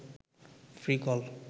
free call